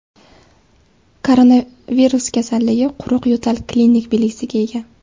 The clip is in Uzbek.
Koronavirus kasalligi quruq yo‘tal klinik belgisiga ega.